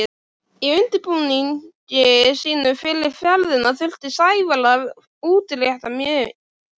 Í undirbúningi sínum fyrir ferðina þurfti Sævar að útrétta heilmikið.